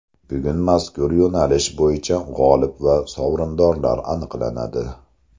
Bugun mazkur yo‘nalish bo‘yicha g‘olib va sovrindorlar aniqlanadi.